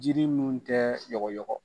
Jiri minnu tɛ yɔgɔyɔgɔ.